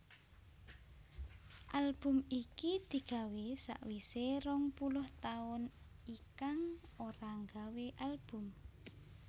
Album iki digawé sawisé rong puluh taun Ikang ora nggawé Album